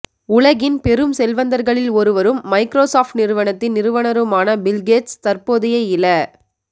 உலகின் பெரும் செல்வந்தர்களில் ஒருவரும் மைக்ரோசொப்ட் நிறுவனத்தின் நிறுவுனருமான பில்கேட்ஸ் தற்போதைய இல